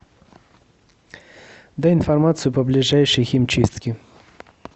дай информацию по ближайшей химчистке